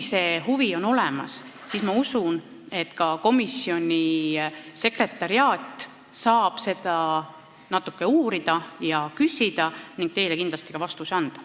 Kui huvi on olemas, siis ma usun, et komisjoni sekretariaat saab seda natuke uurida, infot küsida ning teile ka vastuse anda.